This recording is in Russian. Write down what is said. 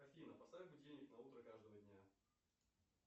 афина поставь будильник на утро каждого дня